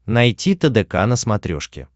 найти тдк на смотрешке